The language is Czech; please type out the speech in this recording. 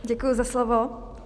Děkuji za slovo.